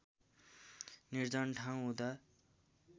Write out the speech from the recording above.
निर्जन ठाउँ हुँदा